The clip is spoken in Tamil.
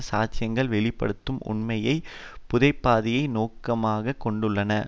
சாட்சியங்கள் வெளி படுத்தும் உண்மையை புதைப்பதையே நோக்கமாக கொண்டுள்ளன